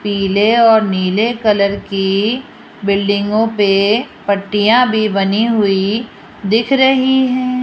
पीले और नीले कलर की बिल्डिंगों पे पट्टियां भी बनी हुई दिख रही हैं।